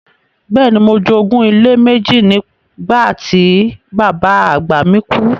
Bẹ́ẹ̀ni, mo jogún ilé méjì nígbà tí bàbá àgbà mi kú.